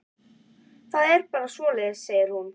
Það er bara svoleiðis, segir hún.